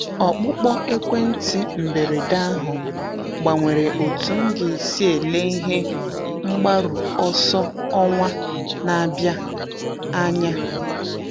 Ọkpụkpọ ekwentị mberede ahụ gbanwere otú m ga-esi ele ihe mgbaru ọsọ ọnwa na-abịa anya.